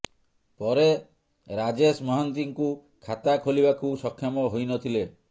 ପରେ ରାଜେଶ ମହାନ୍ତିଙ୍କୁ ଖାତା ଖୋଲିବାକୁ ସକ୍ଷମ ହୋଇ ନଥିଲେ